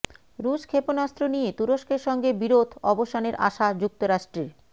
রুশ ক্ষেপণাস্ত্র নিয়ে তুরস্কের সঙ্গে বিরোধ অবসানের আশা যুক্তরাষ্ট্রের